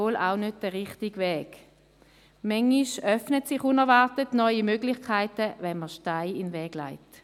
Manchmal öffnen sich unerwartet neue Möglichkeiten, wenn man Steine in den Weg legt.